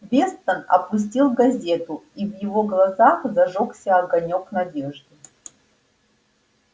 вестон опустил газету и в его глазах зажёгся огонёк надежды